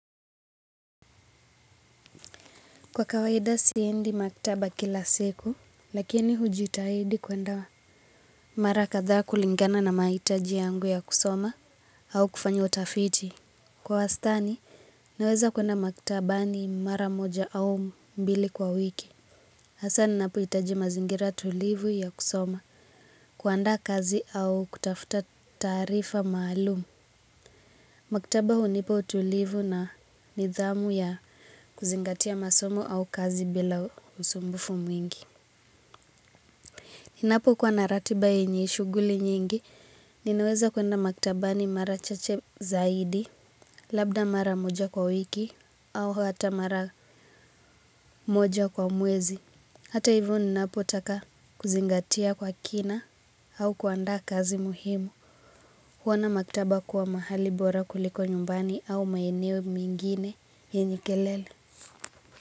Kwa kawaida siendi maktaba kila siku lakini hujitahidi kwenda mara kadhaa kulingana na mahitaji yangu ya kusoma au kufanya utafiti. Kwa wastani naweza kwenda maktabani mara moja au mbili kwa wiki. Hasa ninapohitaji mazingira tulivu ya kusoma kuandaa kazi au kutafta taarifa maalum maktaba hunipa utulivu na nidhamu ya kuzingatia masomo au kazi bila usumbufu mwingi. Ninapokuwa na ratiba yenye shughuli nyingi, ninaweza kwenda maktabani mara chache zaidi, labda mara moja kwa wiki, au hata mara moja kwa mwezi. Hata hivyo ninapotaka kuzingatia kwa kina au kuanda kazi muhimu. Huona maktaba kuwa mahali bora kuliko nyumbani au maeneo mengine yenye kelele.